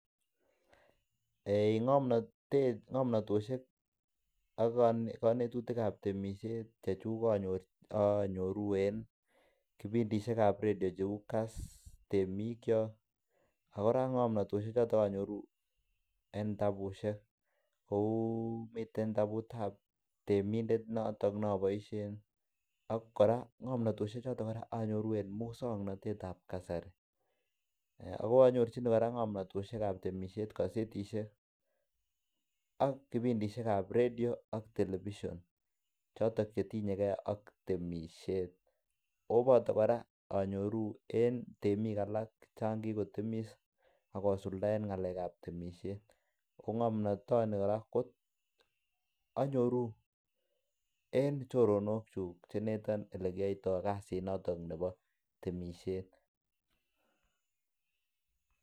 Eiy ng'omnatet ak ng'omnatosiekak konetuitk ab temisiet chechuk anyoru en kipindishek ab radio cheu KASS temikyok ak kora ng'omnatosiek choto anyoru en kitabusiek, kou miten kitabut ab temindet noton ne aboisien ak kora ng'omantoshek choto kora anyoru en muswokanatet ab kasari. AK anyorjinige kora ng'omnatoshek ab temisiet en kosetishek ak kipindishek ab radio ak television choton che tinye ge ak temisiet. O boto kora anyoru en temik alak chan kigotemis ak kosuldaen ng'alekab temisiet. Ko ng'omnatoni kora anyoru en choronokyuk che ineton ole kiyoito kasinoto bo temisiet.